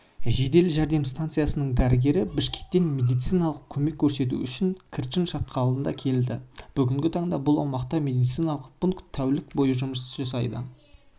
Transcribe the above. жедел жәрдем станциясының дәрігері бішкектен медициналық көмек көрсету үшін қырчын шатқалында келді бүгінгі таңда бұл аумақта медициналық пункт тәулік бойы жұмыс